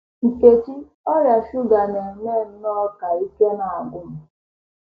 Nkechi: Ọrịa shuga na - eme nnọọ ka ike na - agwụ m.